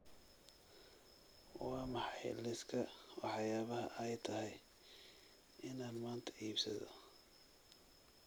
Waa maxay liiska waxyaabaha ay tahay inaan maanta iibsado?